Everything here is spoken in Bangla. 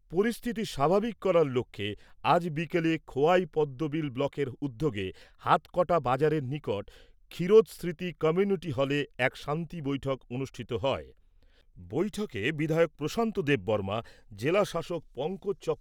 পরিস্থিতি স্বাভাবিক করার লক্ষ্যে আজ বিকেলে খোয়াই পদ্মবিল ব্লকের উদ্যোগে হাতকটা বাজারের নিকট ক্ষীরোদ স্মৃতি কমিউনিটি হলে এক শান্তি বৈঠক অনুষ্ঠিত হয়। বৈঠকে বিধায়ক প্রশান্ত দেববর্মা, জেলা শাসক পঙ্কজ